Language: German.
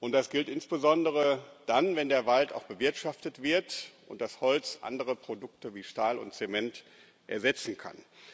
das gilt insbesondere dann, wenn der Wald auch bewirtschaftet wird und das Holz andere Produkte wie Stahl und Zement ersetzen kann.